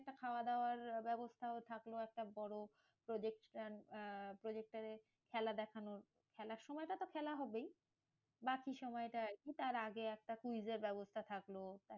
একটা খাওয়াদাওয়ার ব্যবস্থাও থাকলো একটা বড়, আহ projector এ খেলা দেখানো খেলার সময়টা তো খেলা হবেই। বাকি সময়টা আরকি তার আগে একটা quiz এর ব্যবস্থা থাকলো।